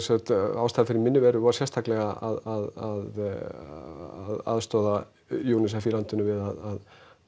ástæðan fyrir minni veru var sérstaklega að aðstoða UNICEF í landinu við að